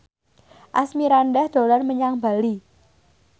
Asmirandah dolan menyang Bali